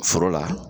Foro la